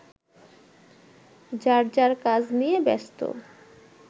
যার যার কাজ নিয়ে ব্যস্ত